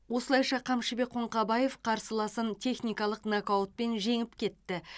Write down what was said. осылайша қамшыбек қоңқабаев қарсыласын техникалық нокаутпен жеңіп кетті